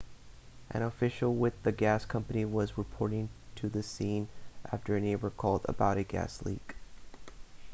an official with the gas company was reporting to the scene after a neighbor called about a gas leak